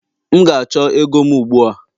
M ga-achọ ego m ugbu a!